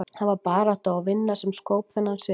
Það var barátta og vinna sem skóp þennan sigur.